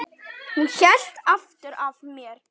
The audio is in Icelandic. Hún hélt aftur af mér.